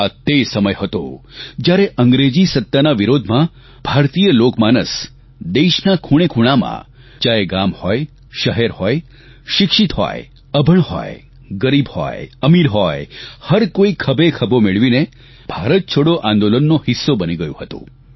આ તે સમય હતો જ્યારે અંગ્રેજી સત્તાના વિરોધમાં ભારતીય લોકમાનસ દેશના ખૂણેખૂણામાં ચાહે ગામ હોય શહેર હોય શિક્ષિત હોય અભણ હોય ગરીબ હોય અમીર હોય હરકોઇ ખભેખભો મિલાવીને ભારત છોડો આંદોલનનો હિસ્સો બની ગયું હતું